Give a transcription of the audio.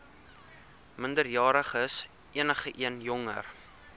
minderjariges enigeen jonger